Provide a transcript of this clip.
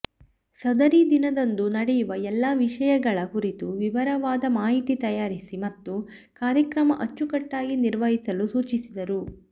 ಸದರಿ ದಿನದಂದು ನಡೆಯುವ ಎಲ್ಲ ವಿಷಯಗಳ ಕುರಿತು ವಿವರವಾದ ಮಾಹಿತಿ ತಯಾರಿಸಿ ಮತ್ತು ಕಾರ್ಯಕ್ರಮ ಅಚ್ಚುಕಟ್ಟಾಗಿ ನಿರ್ವಹಿಸಲು ಸೂಚಿಸಿದರು